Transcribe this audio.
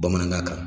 Bamanankan kan